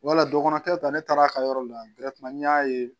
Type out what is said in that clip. Wala dɔgɔ tɛ ta ne taara a ka yɔrɔ la n y'a ye